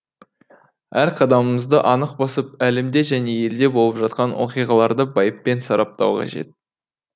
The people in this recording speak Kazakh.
әр қадамымызды анық басып әлемде және елде болып жатқан оқиғаларды байыппен сараптау қажет